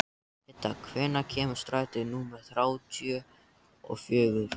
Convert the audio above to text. Idda, hvenær kemur strætó númer þrjátíu og fjögur?